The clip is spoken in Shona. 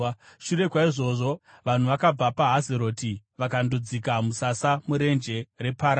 Shure kwaizvozvo, vanhu vakabva paHazeroti vakandodzika musasa muRenje reParani.